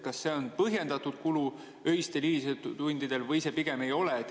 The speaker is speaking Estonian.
Kas see on põhjendatud kulu öistel, hilistel tundidel või pigem ei ole?